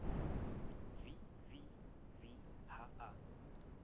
v v v ha a